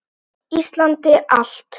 Íslandi allt!